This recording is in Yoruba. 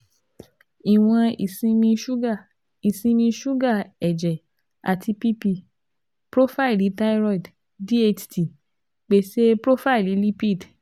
Iwọn isinmi suga isinmi suga ẹjẹ ati PP, profaili thyroid, DHT, pese profaili lipid